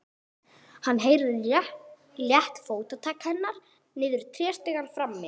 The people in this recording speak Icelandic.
Hann heyrir létt fótatak hennar niður tréstigann frammi.